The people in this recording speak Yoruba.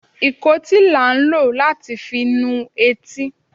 ikòtí la n lò latí fi nú etí